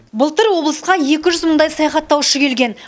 былтыр облысқа екі жүз мыңдай саяхаттаушы келген